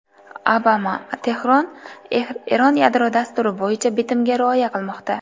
Obama: Tehron Eron yadro dasturi bo‘yicha bitimga rioya qilmoqda.